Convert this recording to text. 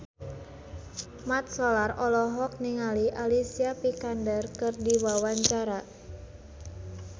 Mat Solar olohok ningali Alicia Vikander keur diwawancara